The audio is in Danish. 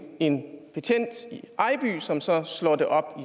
en betjent i ejby som så slår det op